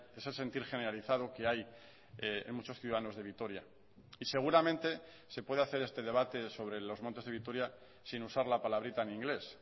ese sentir generalizado que hay en muchos ciudadanos de vitoria y seguramente se puede hacer este debate sobre los montes de vitoria sin usar la palabrita en inglés